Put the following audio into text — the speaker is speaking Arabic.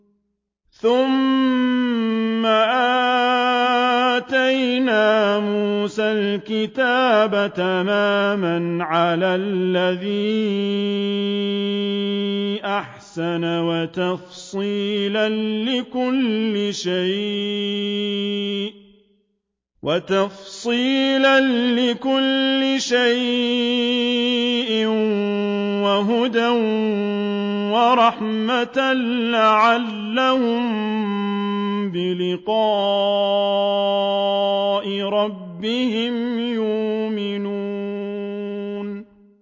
ثُمَّ آتَيْنَا مُوسَى الْكِتَابَ تَمَامًا عَلَى الَّذِي أَحْسَنَ وَتَفْصِيلًا لِّكُلِّ شَيْءٍ وَهُدًى وَرَحْمَةً لَّعَلَّهُم بِلِقَاءِ رَبِّهِمْ يُؤْمِنُونَ